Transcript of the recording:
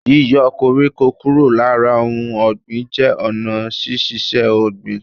Yíyo koríko kúrò lára ohun ògbìn jé ònà sísisé ògbìn